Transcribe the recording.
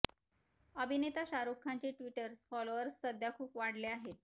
अभिनेता शाहरुख खानचे Twitter followers सध्या खूप वाढले आहेत